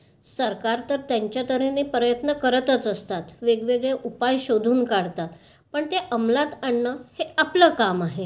सरकार तर त्यांच्या तर् हेने प्रयत्न तर करतच असते. वेगवेगळे उपाय शोधून काढतात. पण ते अमलात आणणे हे आपलं काम आहे.